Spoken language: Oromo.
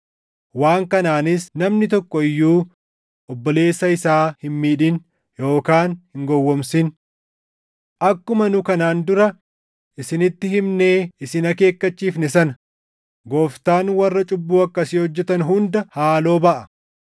waan kanaanis namni tokko iyyuu obboleessa isaa hin miidhin yookaan hin gowwoomsin. Akkuma nu kanaan dura isinitti himnee isin akeekkachiifne sana, Gooftaan warra cubbuu akkasii hojjetan hunda haaloo baʼa.